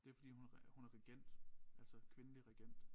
Det fordi hun hun er regent altså kvindelig regent